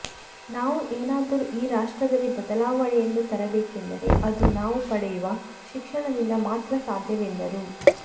ನಾವು ಏನಾದರೂ ಈ ರಾಷ್ಟ್ರದಲ್ಲಿ ಬದಲಾವಣೆಯನ್ನು ತರಬೇಕೆಂದರೆ ಅದು ನಾವು ಪಡೆಯುವ ಶಿಕ್ಷಣದಿಂದ ಮಾತ್ರ ಸಾಧ್ಯವೆಂದರು